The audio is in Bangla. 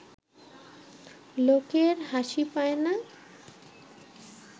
লোকের হাসি পায় না